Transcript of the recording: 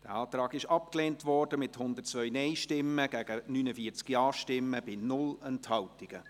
Sie haben diesen Antrag abgelehnt, mit 102 Nein- gegen 49 Ja-Stimmen bei 0 Enthaltungen.